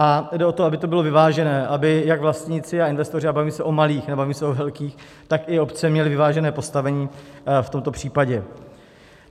A jde o to, aby to bylo vyvážené, aby jak vlastníci a investoři - a bavím se o malých, nebavím se o velkých - tak i obce měly vyvážené postavení v tomto případě.